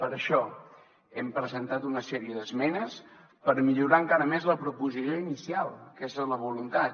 per això hem presentat una sèrie d’esmenes per millorar encara més la proposició inicial aquesta és la voluntat